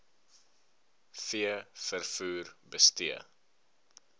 v vervoer bestee